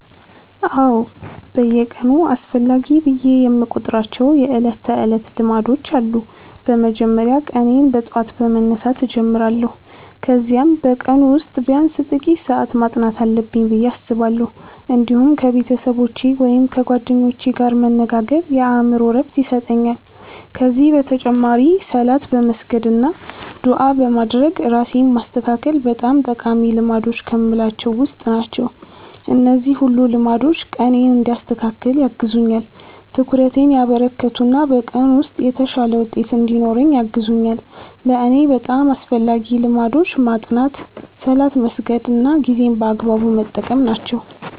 አዎ፣ በየቀኑ አስፈላጊ ብዬ የምቆጥራቸው የዕለት ተዕለት ልማዶች አሉ። በመጀመሪያ ቀኔን በጠዋት በመነሳት እጀምራለሁ፣ ከዚያም በቀኑ ውስጥ ቢያንስ ጥቂት ሰዓት ማጥናት አለብኝ ብዬ አስባለሁ። እንዲሁም ከቤተሰቦቼ ወይም ከጓደኞቼ ጋር መነጋገር የአእምሮ ዕረፍት ይሰጠኛል። ከዚህ በተጨማሪ ሶላት በመስገድ አና ዱዓ በማድረግ ራሴን ማስተካከል በጣም ጠቃሚ ልማዶች ከምላቸዉ ዉስጥ ናቸው። እነዚህ ሁሉ ልማዶች ቀኔን እንዲያስተካክል ያግዙኛል፣ ትኩረቴን ያበረከቱ እና በቀኑ ውስጥ የተሻለ ውጤት እንድኖረኝ ያግዙኛል። ለእኔ በጣም አስፈላጊዎቹ ልማዶች ማጥናት፣ ሶላት መስገድ እና ጊዜን በአግባቡ መጠቀም ናቸው።